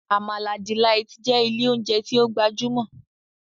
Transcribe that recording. Amala Delight' jẹ ilé oúnjẹ tí o gbajúmò